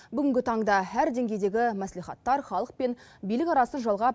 бүгінгі таңда әр деңгейдегі мәслихаттар халық пен билік арасын жалғап